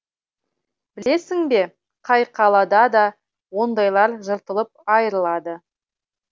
білесің бе қай қалада да ондайлар жыртылып айырылады